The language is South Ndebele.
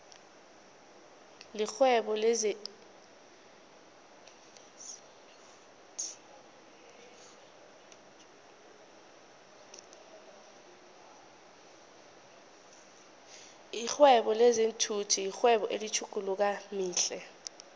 lihwebo lezinfhvthi yirwebo elithuthukayo flhe